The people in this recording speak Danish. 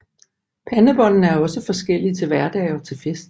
Pandebåndene er også forskellige til hverdag og til fest